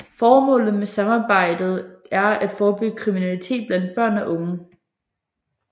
Formålet med samarbejdet er at forebygge kriminalitet blandt børn og unge